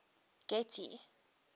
getty